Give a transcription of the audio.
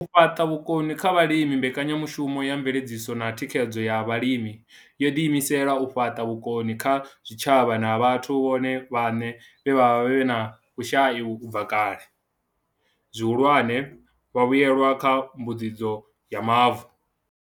U fhaṱa vhukoni kha vhalimi Mbekanya mushumo ya Mveledziso na Thikhedzo ya Vhalimi yo ḓiimisela u fhaṱa vhukoni kha zwitshavha na vhathu vhone vhaṋe vhe vha vha vhe na vhushai u bva kale, zwihulwane, vhavhuelwa kha Mbuedzedzo ya Mavu.